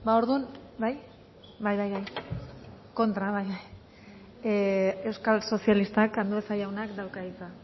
orduan euskal sozialistak andueza jaunak dauka hitza